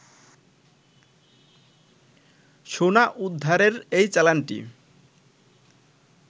সোনা উদ্ধারের এই চালানটি